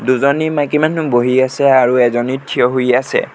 দুজনী মাইকী মানুহ বহি আছে আৰু এজনী থিয় হৈ আছে।